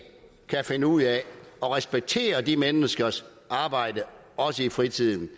kan finde ud af at respektere de menneskers arbejde også i fritiden